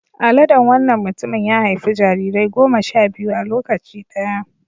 Aladen wannan mutumin ya haifi jarirai goma sha biyu a lokaci ɗaya.